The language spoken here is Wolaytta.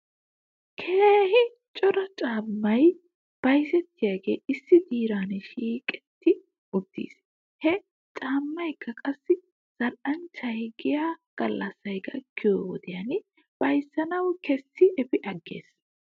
Keehi cora caammay bayzettiyaagee issi diran shiiqetti uttis. He caammaakka qassi zal'anchchay giya gallassay gakkiyoo wodiyan bayzzanaw kessidi efi agges.